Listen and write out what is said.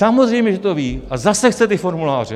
Samozřejmě že to ví, a zase chce ty formuláře.